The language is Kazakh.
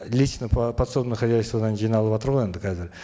личное подсобное хозяйстводан жиналыватыр ғой енді қазір